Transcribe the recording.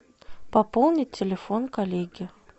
пополнить телефон коллеги